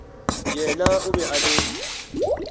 yena o be a le